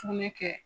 Sugunɛ kɛ